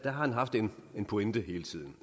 har haft en pointe hele tiden